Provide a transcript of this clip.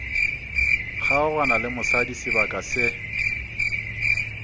kgaogana le mosadi sebaka se